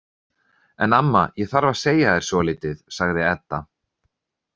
En amma, ég þarf að segja þér svolítið, sagði Edda.